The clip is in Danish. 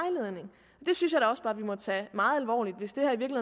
at vi må tage meget alvorligt hvis det